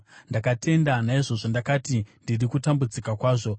Ndakatenda; naizvozvo ndakati, “Ndiri kutambudzika kwazvo.”